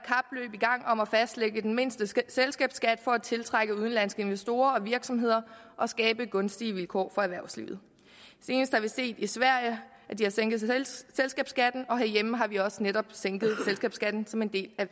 i gang om at fastlægge den mindste selskabsskat for at tiltrække udenlandske investorer og virksomheder og skabe gunstige vilkår for erhvervslivet senest har vi set i sverige at de har sænket selskabsskatten og herhjemme har vi også netop sænket selskabsskatten som en del af